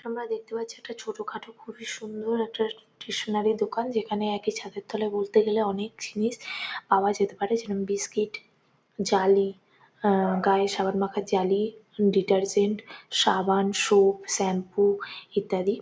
আমরা দেখতে পাচ্ছি একটা ছোট-খাটো খুবই সুন্দর একটা স্টেশনারি দোকান। যেখানে একই ছাদের তলায় বলতে গেলে অনেক জিনিস পাওয়া যেতে পারে। যেরম- বিস্কিট জালি আ -গায়ে সাবান মাখার জালি ডিটারজেন্ট সাবান সোপ শ্যাম্পু ইত্যাদি।